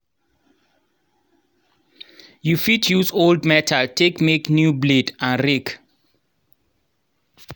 you fit use old metal take make new blade and rake.